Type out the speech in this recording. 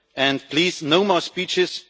and please, no more speeches.